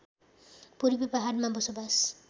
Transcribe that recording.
पूर्वी पहाडमा बसोवास